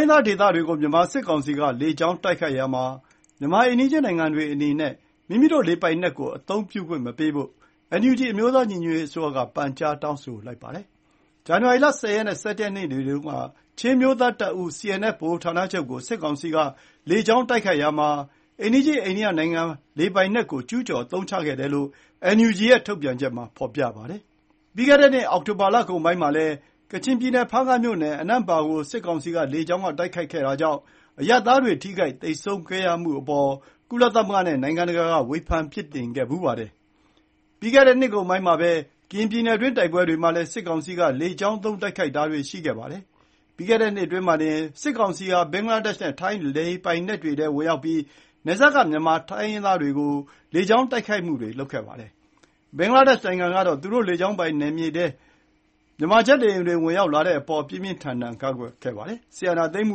င်းသားဒေသတွေကို မြန်မာစစ်ကောင်စီက လေကြောင်းတိုက်ခိုက်ရာမှာ မြန်မာအိမ်နီးချင်းနိုင်ငံတွေအနေနဲ့ မိမိတို့လေပိုင်နက်ကိုအသုံးပြုခွင့်မပေးဖို့ NUG အမျိုးသားညီညွတ်ရေးအစိုးရက ပန်ကြားတောင်းဆိုလိုက်ပါတယ်။ ဇန်နဝါရီ ၁၀ ရက်နဲ့ ၁၁ ရက်နေ့တွေတုန်းက ချင်းအမျိုးသားတပ်ဦး CNF ဗဟိုဌာနချုပ်ကို စစ်ကောင်စီက လေကြောင်းတိုက်ခိုက်ရာမှာ အိမ်နီးချင်းအိန္ဒိယနိုင်ငံလေပိုင်နက်ကို ကျူးကျော်အသုံးချခဲ့တယ်လို့ NUG ရဲ့ ထုတ်ပြန်ချက်မှာဖော်ပြပါတယ်။ ပြီးခဲ့တဲ့နှစ် အောက်တိုဘာလကုန်ပိုင်းမှာလည်း ကချင်ပြည်နယ် ဖားကန့်မြို့နယ် အနန်ပါ့ ကို စစ်ကောင်စီက လေကြောင်းတိုက်ခိုက်မှုကြောင့် အရပ်သားတွေထိခိုက်သေဆုံးခဲ့ရတဲ့အပေါ် ကုလသမဂ္ဂနဲ့ နိုင်ငံတကာက ဝေဖန်ပြစ်တင်ခဲ့ဖူးပါတယ်။ ပြီးခဲ့တဲ့နှစ်ကုန်ပိုင်းမှာပဲ ကရင်ပြည်နယ်တွင်း တိုက်ပွဲတွေမှာလည်း စစ်ကောင်စီက လေကြောင်းသုံးတိုက်ခိုက်တာတွေရှိခဲ့ပါတယ်။ ပြီးခဲ့တဲ့နှစ်အတွင်းမှာတင် စစ်ကောင်စီဟာ ဘင်္ဂလားဒေ့ရ်ှနဲ့ ထိုင်းလေပိုင်နက်တွေထဲ ဝင်ရောက်ပြီး၊ နယ်စပ်က မြန်မာတိုင်းရင်းသားဒေသတွေကို လေကြောင်းတိုက်ခိုက်မှုတွေလုပ်ခဲ့ဖူးပါတယ်။ ဘင်္ဂလားဒေ့ရ်ှနိုင်ငံကတော့ သူတို့လေကြောင်းပိုင်နက်ထဲ မြန်မာဂျက်လေယာဉ်တွေဝင်ရောက်လာတဲ့အပေါ် ပြင်းပြင်းထန်ထန်ကန့်ကွက်ခဲ့ပါတယ်။ စစ်အာဏာသိမ်းမှု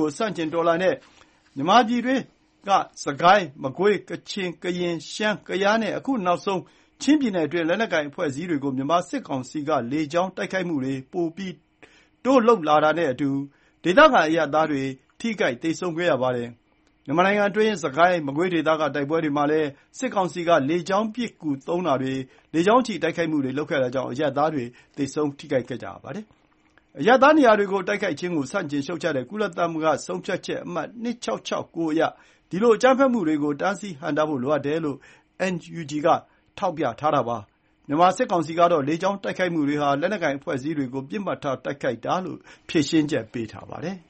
ကိုဆန့်ကျင်တော်လှန်တဲ့ မြန်မာပြည်တွင်း စစ်ကိုင်း၊ မကွေး၊ ကချင်၊ ကရင်၊ ရှမ်း၊ ကယားနဲ့ အခုနောက်ဆုံး ချင်းပြည်နယ်တွင်း လက်နက်ကိုင်အဖွဲ့အစည်းတွေကို မြန်မာစစ်ကောင်စီက လေကြောင်းတိုက်ခိုက်မှုတွေ ပိုတိုးလုပ်လာတာနဲ့အတူ၊ ဒေသခံအရပ်သားတွေ ထိခိုက်သေဆုံးမှုရှိခဲ့ပါတယ်။ မြန်မာနိုင်ငံတွင်း စစ်ကိုင်း မကွေးဒေသက တိုက်ပွဲတွေမှာလည်း စစ်ကောင်စီက လေကြောင်းပစ်ကူသုံးတာတွေ လေကြောင်းချီတိုက်ခိုက်မှုတွေလုပ်တာကြောင့် အရပ်သားထိခိုက်မှုတွေရှိနေပါတယ်။ အရပ်သားနေရာတွေကို တိုက်ခိုက်ခြင်းကို ဆန့်ကျင်ရှုတ်ချတဲ့ ကုလသမဂ္ဂဆုံးဖြတ်ချက်အမှတ် ၂၆၆၉ အရ ဒီလိုအကြမ်းဖက်မှုတွေကို တားဆီးဟန့်တားဖို့လိုအပ်တယ်လို့ NUG က ထောက်ပြထားပါတယ်။ မြန်မာစစ်ကောင်စီကတော့ လေကြောင်းတိုက်ခိုက်မှုတွေဟာ လက်နက်ကိုင်အဖွဲ့အစည်းတွေကို ပစ်မှတ်ထားတိုက်ခိုက်တာလို့ ဖြေရှင်းချက်ပေးထားပါတယ်။